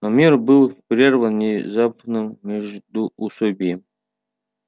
но мир был прерван незапным междуусобием